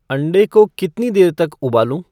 अंडे को कितनी देर तक उबालूं